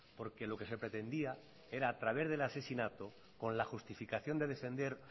porque lo que se pretendía era a través del asesinato con la justificación de defender